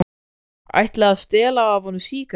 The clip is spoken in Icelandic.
Ætli að stela af honum sígarettunni.